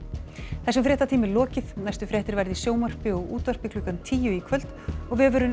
þessum fréttatíma er lokið næstu fréttir verða í sjónvarpi og útvarpi klukkan tíu í kvöld og vefurinn